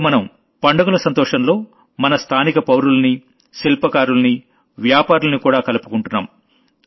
ఇప్పడు మనం పండుగల సంతోషంలో మన లోకల్ పౌరుల్ని శిల్పకారుల్ని వ్యాపారుల్ని కూడా కలుపుకుంటున్నాం